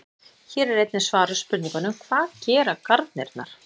Hér er einnig svarað spurningunum: Hvað gera garnirnar?